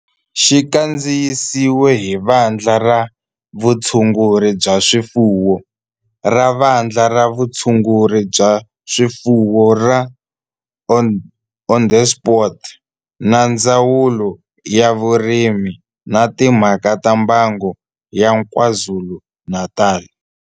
Xi kandziyisiwe hi Vandla ra Vutshunguri bya swifuwo ra Vandla ra Vutshunguri bya swifuwo ra Onderstepoort na Ndzawulo ya Vurimi na Timhaka ta Mbango ya KwaZulu-Natal.